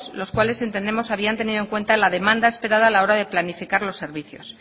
los cuales entendemos habían tenido en cuenta la demanda esperada a la hora de planificar los servicios